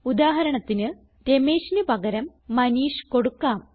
ഉദാഹരണത്തിന് Rameshന് പകരം മനീഷ് കൊടുക്കാം